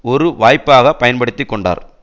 ஒரு வாய்ப்பாக பயன்படுத்தி கொண்டார்